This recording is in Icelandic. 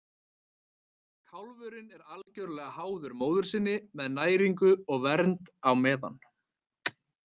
Kálfurinn er algjörlega háður móður sinni með næringu og vernd á meðan.